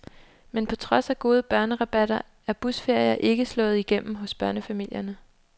Men på trods af gode børnerabatter er busferier ikke slået igennem hos børnefamilierne.